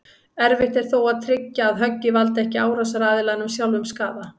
Erfitt er þó að tryggja að höggið valdi ekki árásaraðilanum sjálfum skaða.